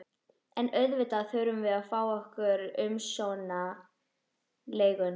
En auðvitað þurftum við að fá okkar umsömdu leigu.